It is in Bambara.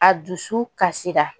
A dusu kasira